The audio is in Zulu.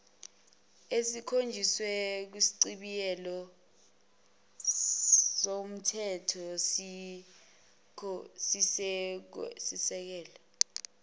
ekhonjiswe kwisichibiyelo somthethosisekelo